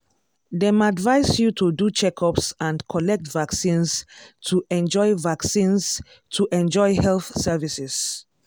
dem advise you to do checkups and collect vaccines to enjoy vaccines to enjoy health services.